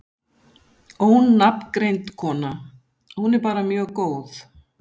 Ónafngreind kona: Hún er bara mjög góð?